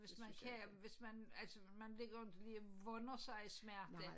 Hvis man kan hvis man altså man vil inte ligge vånde sig i smerte